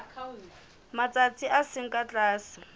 matsatsi a seng ka tlase